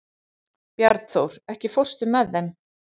Bjarnþór, ekki fórstu með þeim?